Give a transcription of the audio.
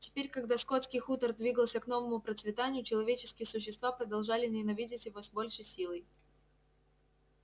теперь когда скотский хутор двигался к новому процветанию человеческие существа продолжали ненавидеть его с ещё большей силой